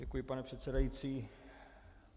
Děkuji, pane předsedající.